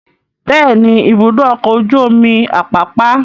Bẹ́ẹ̀ ni, Ibùdó-ọkọ̀ ojú-omi Àpápá.